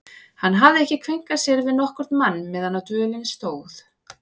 Hann hafði ekki kveinkað sér við nokkurn mann meðan á dvölinni stóð.